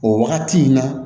O wagati in na